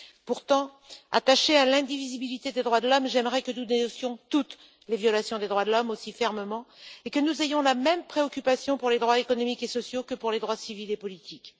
Pourtant, attachée à l'indivisibilité des droits de l'homme, j'aimerais que nous dénoncions toutes les violations des droits de l'homme aussi fermement et que nous ayons la même préoccupation pour les droits économiques et sociaux que pour les droits civils et politiques.